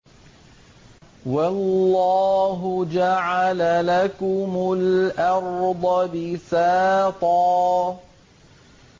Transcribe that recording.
وَاللَّهُ جَعَلَ لَكُمُ الْأَرْضَ بِسَاطًا